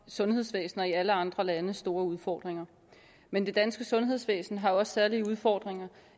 sundhedsvæsener i alle andre lande store udfordringer men det danske sundhedsvæsen har også særlige udfordringer